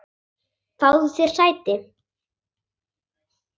Fáðu þér sæti!